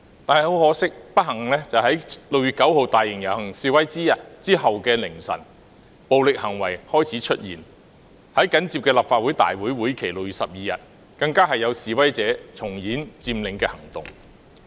但很可惜及不幸，在6月9日大型遊行之後的凌晨，暴力行為開始出現，在緊接的立法會會議日期6月12日當天，更有示威者重演佔領行動。